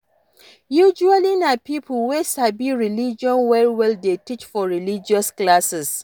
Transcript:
Usually na pipo wey sabi religion well well dey teach for religious classes